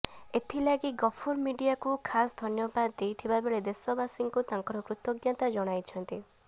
ଏଥିଲାଗି ଗଫୁର ମିଡିଆକୁ ଖାସ ଧନ୍ୟବାଦ ଦେଇଥିବା ବେଳେ ଦେଶବାସୀଙ୍କୁ ତାଙ୍କର କୃତଜ୍ଞତା ଜଣାଇଛନ୍ତି